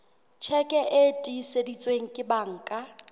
tjheke e tiiseditsweng ke banka